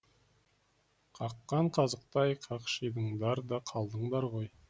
қаққан қазықтай қақшидыңдар да қалдыңдар ғой